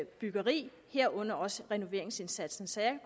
byggeri herunder også renoveringsindsatsen så jeg